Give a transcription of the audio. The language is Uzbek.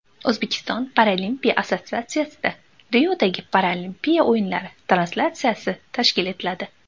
O‘zbekiston paralimpiya assotsiatsiyasida Riodagi Paralimpiya o‘yinlari translyatsiyasi tashkil etiladi.